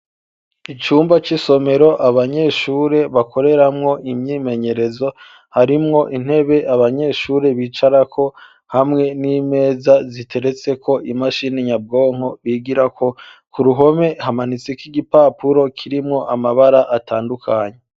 Icumba c'isomero abanyeshuri bakoreramwo imyimenyerezo harimwo intebe abanyeshuri bicara ko hamwe n'imeza ziteretse ko imashini nyabwonko bigira ko, ku ruhome hamanitse k'igipapuro kirimwo amabara atandukanye.